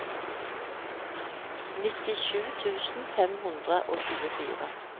nittisju tusen fem hundre og tjuefire